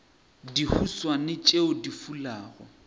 le dihuswane tšeo di fulago